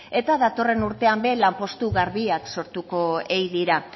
eta datorren urtean ere lanpostu garbiak sortuko ei dira